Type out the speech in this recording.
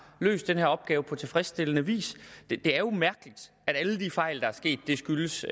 løst den her opgave på tilfredsstillende vis det er jo mærkeligt at alle de fejl der er sket skyldes